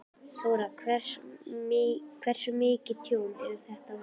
Þóra: Hversu mikið tjón er þetta á húsinu?